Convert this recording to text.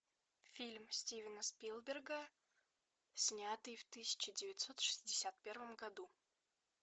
фильм стивена спилберга снятый в тысяча девятьсот шестьдесят первом году